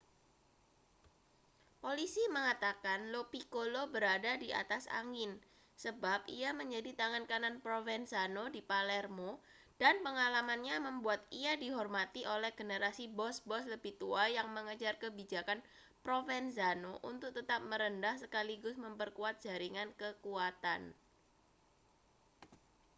polisi mengatakan lo piccolo berada di atas angin sebab ia menjadi tangan kanan provenzano di palermo dan pengalamannya membuat ia dihormati oleh generasi bos-bos lebih tua yang mengejar kebijakan provenzano untuk tetap merendah sekaligus memperkuat jaringan kekuatan